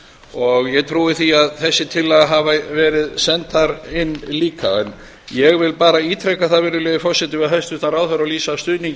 og ég trúi því að þessar tillaga hafi verið sendar inn líka en ég vil bara ítreka það við hæstvirtan ráðherra og lýsa stuðningi